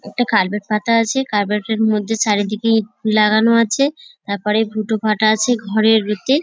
একটা কার্পেট পাতা আছে। করবেট এর মধ্যে চারিদিকে ইট লাগানো আছে তারপর ফুটো ফাটা আছে ঘরের ইতে।